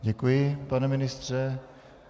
Děkuji, pane ministře.